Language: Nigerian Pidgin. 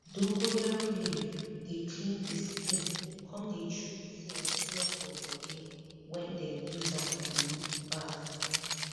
dongoyaro leaf dey clean di skin come dey treat smell smell for body wen dem use am um baff